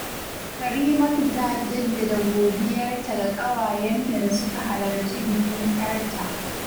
Karimatu ta jaddada godiyarta ga ƙawayenta da suka halarcin bikin ‘yarta